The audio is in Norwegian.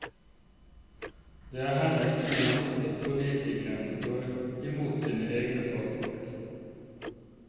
Det er heller ikke noe nytt at politikerne går imot sine egne fagfolk.